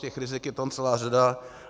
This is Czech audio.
Těch rizik je tam celá řada.